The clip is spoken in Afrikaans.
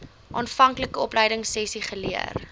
aanvanklike opleidingsessies geleer